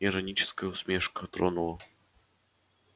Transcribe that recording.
ироническая усмешка тронула